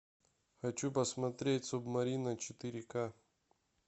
хочу посмотреть субмарина четыре к